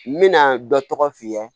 N bɛna dɔ tɔgɔ f'i ye